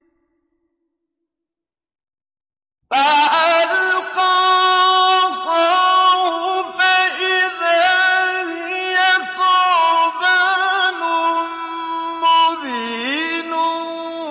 فَأَلْقَىٰ عَصَاهُ فَإِذَا هِيَ ثُعْبَانٌ مُّبِينٌ